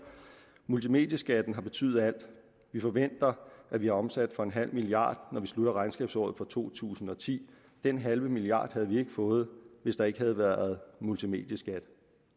multimedieskatten har betydet alt vi forventer at vi har omsat for en halv milliard når vi slutter regnskabsåret for to tusind og ti den halve milliard havde vi ikke fået hvis der ikke havde været multimedieskat